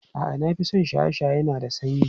A'a, na fi son shaye-shaye na da sanyi.